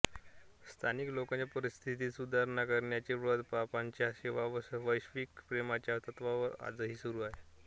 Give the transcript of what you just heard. स्थानिक लोकांच्या परिस्थितीत सुधारणा करण्याचे व्रत पापांच्या सेवा व वैश्विक प्रेमाच्या तत्त्वांवर आजही सुरू आहे